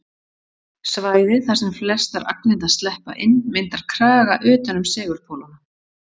Svæðið þar sem flestar agnirnar sleppa inn myndar kraga utan um segulpólana.